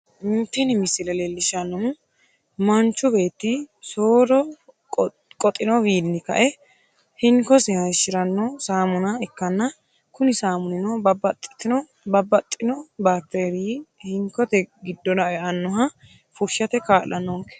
Tini misile leellishshannohu manchu beetti soodo qoxinowiinni kae hinkosi hashshiranno saamuna ikkanna, kuni saamunino babbaxxino bakiteeriyi hinkote giddora e'inoha fushshate kaa'lannonke.